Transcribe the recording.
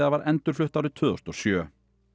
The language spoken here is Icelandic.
var endurflutt árið tvö þúsund og sjö